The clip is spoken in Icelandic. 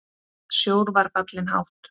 Sjór var fallinn hátt.